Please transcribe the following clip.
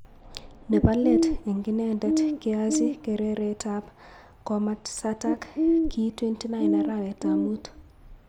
Nebo leet eng inendet keachi kereretab komasatak ki 29 Araweta mut.